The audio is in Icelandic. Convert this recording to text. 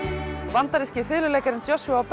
bandaríski fiðluleikarinn Joshua